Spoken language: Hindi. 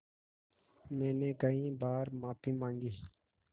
मैंने कई बार माफ़ी माँगी